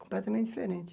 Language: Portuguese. Completamente diferente.